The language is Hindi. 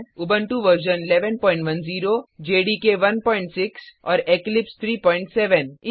उबंटु 1110 जेडीके 16 और इक्लिप्स 37